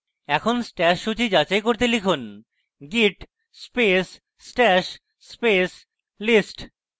এখন stash সূচী যাচাই করতে লিখুন git space stash space list